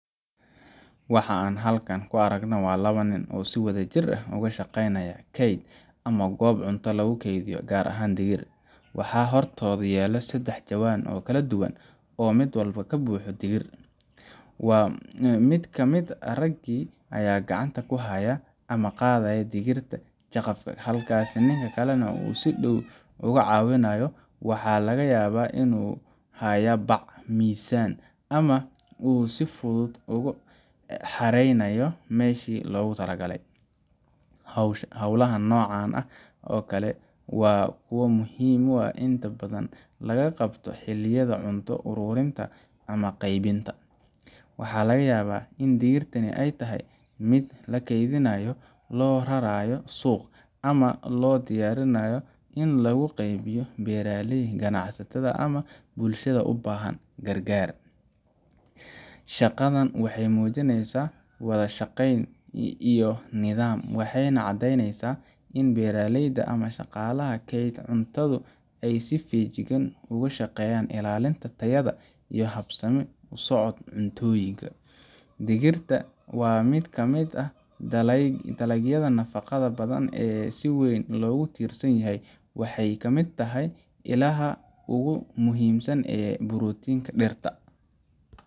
Waxa aan halkan ku aragnaa waa laba nin oo si wadajir ah uga shaqeynaya kayd ama goob cunto lagu kaydiyo, gaar ahaan digir. Waxaa hortooda yaal saddex jawaan oo kala duwan oo mid walba ka buuxo digir. Mid ka mid ah raggii ayaa gacanta ku haya ama ka qaadaya digirta jaqafka, halka ninka kale uu si dhow uga caawinayo waxa laga yaabaa inuu haya bac, miisaan, ama uu si fudud ugu xareynayo meeshii loogu talagalay. Hawlaha noocan oo kale ah waa kuwo muhiim ah oo inta badan laga qabto xilliyada cunto ururinta ama qeybinta. Waxaa laga yaabaa in digirtani ay tahay mid la kaydinayo, loo rarraynayo suuq, ama loo diyaarinayo in lagu qeybiyo beeraleyda, ganacsatada, ama bulshada u baahan gargaar. Shaqadan waxay muujinaysaa wada shaqayn iyo nidaam, waxayna caddeyneysaa in beeraleyda ama shaqaalaha kaydka cuntadu ay si feejigan uga shaqeeyaan ilaalinta tayada iyo habsami u socod cuntooyinka. Digirta waa mid ka mid ah dalagyada nafaqada badan ee si weyn loogu tiirsan yahay waxay ka mid tahay ilaha ugu muhiimsan ee borotiinka dhirta,